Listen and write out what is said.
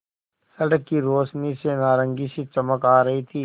सड़क की रोशनी से नारंगी सी चमक आ रही थी